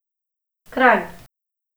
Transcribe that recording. Kranj.